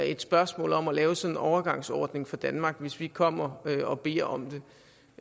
et spørgsmål om at lave sådan en overgangsordning for danmark hvis vi kommer og beder om det